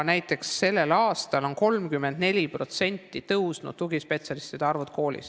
Näiteks on sellel aastal tugispetsialistide arv koolis suurenenud 34%.